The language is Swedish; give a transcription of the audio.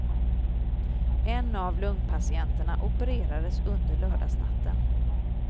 En av lungpatienterna opererades under lördagsnatten.